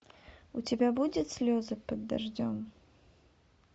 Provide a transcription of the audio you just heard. у тебя будет слезы под дождем